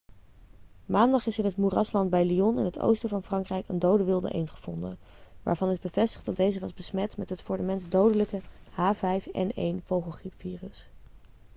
maandag is in het moerasland bij lyon in het oosten van frankrijk een dode wilde eend gevonden waarvan is bevestigd dat deze was besmet met het voor de mens dodelijke h5n1-vogelgriepvirus